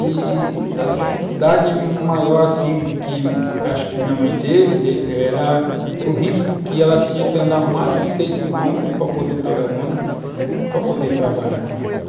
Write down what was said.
i-i a dificuldade maior assim que acho que a minha mãe teve era o risco que ela tinha que andar mais de seis quilômetros para poder pegar o ônibus, para poder trabalhar.